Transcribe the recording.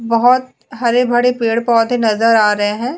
बहुत हरे भड़े पेड़ पौधे नजर आ रहे हैं।